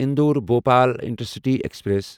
Indore Bhopal intercity express